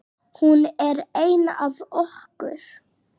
Hún var ein af okkur.